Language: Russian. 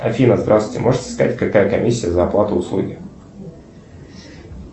афина здравствуйте можете сказать какая комиссия за оплату услуги